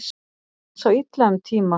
Sá illa um tíma